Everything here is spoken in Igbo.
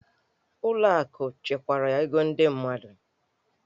Ụlọ akụ chekwara ego ndị mmadụ.